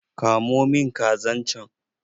Ka mo min kazan can!